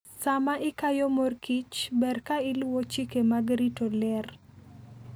Sama ikayo mor kich, ber ka iluwo chike mag rito ler.